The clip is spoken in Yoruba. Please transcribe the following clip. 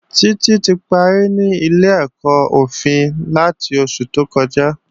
Títí ti parí ní ilé-ẹ̀kọ́ òfin láti oṣù tó kọjá